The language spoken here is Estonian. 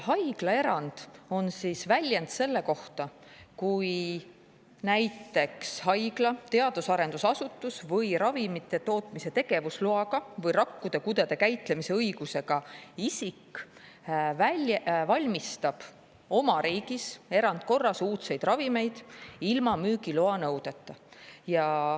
Haiglaerand on väljend selle kohta, kui näiteks haigla, teadus- ja arendusasutus, ravimite tootmise tegevusloaga või rakkude, kudede käitlemise õigusega isik valmistab oma riigis uudseid ravimeid erandkorras ilma müügiloa nõudeta.